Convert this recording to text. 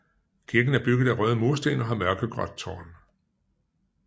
Kirken er bygget af røde mursten og har mørkegråt tårn